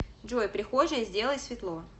джой прихожая сделай светло